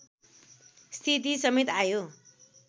स्थिति समेत आयो